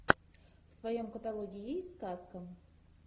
в твоем каталоге есть сказка